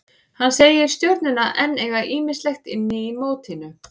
Hann segir Stjörnuna enn eiga ýmislegt inni í mótinu.